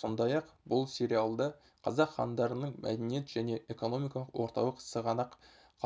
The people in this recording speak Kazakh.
сондай-ақ бұл сериалда қазақ хандарының мәдениет және экономикалық орталық сығанақ